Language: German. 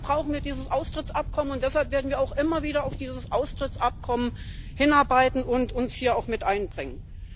Dafür brauchen wir dieses Austrittsabkommen, und deshalb werden wir auch immer wieder auf dieses Austrittsabkommen hinarbeiten und uns hier auch mit einbringen.